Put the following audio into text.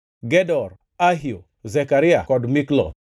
Gedor, Ahio, Zekaria kod Mikloth.